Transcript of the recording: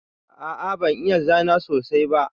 A'a ban iya zana sosai ba.